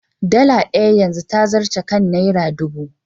Dala ɗaya yanzu ta zarce kan Naira ɗubu.